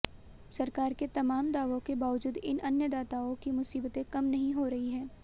सरकार के तमाम दावों के बावजूद इन अन्नदाताओं की मुसीबतें कम नहीं हो रही हैं